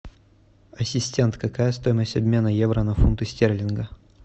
ассистент какая стоимость обмена евро на фунты стерлинга